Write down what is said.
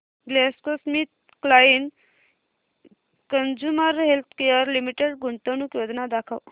GlaxoSmithKline consumer healthcare limited गुंतवणूक योजना दाखव